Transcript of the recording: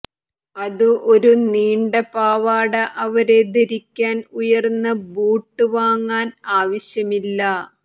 അതു ഒരു നീണ്ട പാവാട അവരെ ധരിക്കാൻ ഉയർന്ന ബൂട്ട് വാങ്ങാൻ ആവശ്യമില്ല